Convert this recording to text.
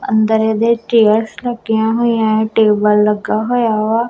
ਅੰਦਰ ਇਹਦੇ ਚੇਅਰਸ ਲੱਗੀਆਂ ਹੋਈਆਂ ਟੇਬਲ ਲੱਗਿਆ ਹੋਇਆ ਵਾ।